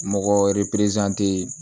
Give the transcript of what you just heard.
Mɔgɔ